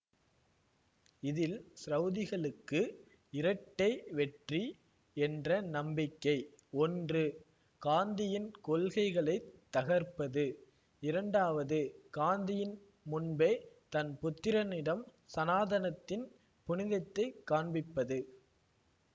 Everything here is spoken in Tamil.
இதில் ச்ரௌதிகளுக்கு இரட்டை வெற்றி என்ற நம்பிக்கை ஒன்று காந்தியின் கொள்கைகளை தகர்ப்பது இரண்டாவது காந்தியின் முன்பே தன் புத்திரனிடம் சனாதனத்தின் புனிதத்தைக் காண்பிப்பது